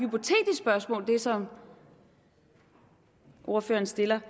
spørgsmål som ordføreren stiller